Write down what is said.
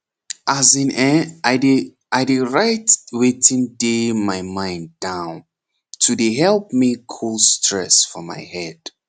as in[um]i dey i dey write wetin dey my mind down to dey help me cul stress for my head